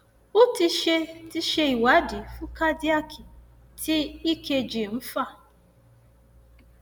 o ti ṣe ti ṣe ìwádìí fún cardiac tí ekg ń fà